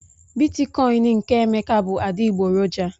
Bitikoin nke Emeka bụ adịgboroja